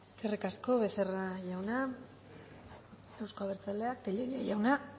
eskerrik asko becerra jauna euzko abertzaleak tellería jauna